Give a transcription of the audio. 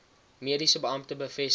mediese beampte bevestig